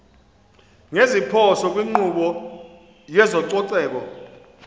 ngeziphoso kwinkqubo yezococeko